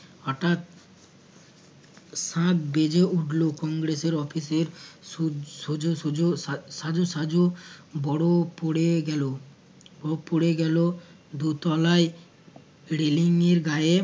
শাঁখ বেজে উঠল কংগ্রেসের office এ সু সুজ সুজ সাজো সাজো বড় পড়ে গেলো বড় পড়ে গেলো দোতলায় railing এর গায়ে